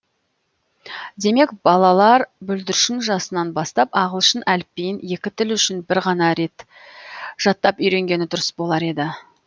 демек балалар бүлдіршін жасынан бастап ағылшын әліпбиін екі тіл үшін бір ғана рет жаттап үйренгені дұрыс болар еді